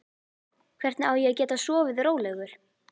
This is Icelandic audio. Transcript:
Hvernig á ég að geta sofið rólegur?